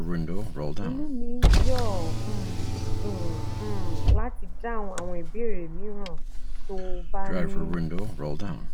inú mi yóò um dùn um láti dáhùn àwọn ìbéèrè mìíràn tó o bá ní